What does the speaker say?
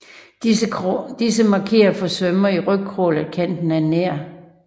Disse markerer for svømmere i rygcrawl at kanten er nær